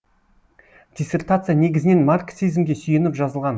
диссертация негізінен марксизмге сүйеніп жазылған